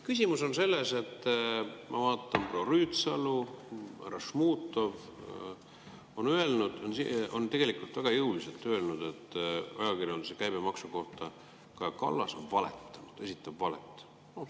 Küsimus on selles, et ma vaatan, et proua Rüütsalu ja härra Šmutov on öelnud, on tegelikult väga jõuliselt öelnud ajakirjanduse käibemaksu kohta, et Kaja Kallas on valetanud, esitab valet.